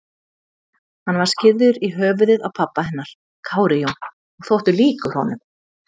Hann var skírður í höfuðið á pabba hennar, Kári Jón, og þótti líkur honum.